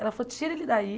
Ela falou, tira ele daí.